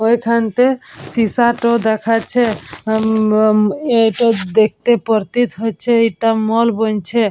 ওই খানতে সিসাতো দেখাচ্ছে। এটা দেখতে পতিত হচ্ছে এটা মল ।